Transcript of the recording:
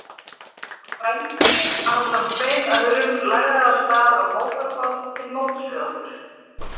Halldór frændi, ásamt tveim öðrum, lagði af stað á mótorbát til móts við okkur.